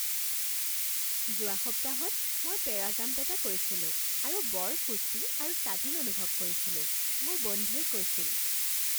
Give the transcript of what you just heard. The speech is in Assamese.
যোৱা সপ্তাহত মই পেৰাজাম্প এটা কৰিছিলোঁ আৰু বৰ ফূৰ্তি আৰু স্বাধীন অনুভৱ কৰিছিলো, মোৰ বন্ধুৱে কৈছিল